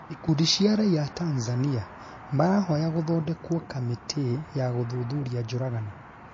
ikundi cia raiya a Tanzania marahoya gũthondekwo kamĩti ya gũthuthuria njũragano